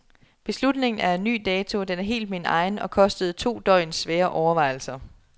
Beslutningen er af ny dato, den er helt min egen, og kostede to døgns svære overvejelser.